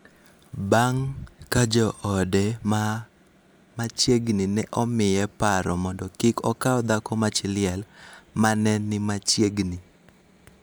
bang� ka joode ma machiegni ne omiye paro mondo kik okaw dhako ma chi liel ma ne ni machiegni.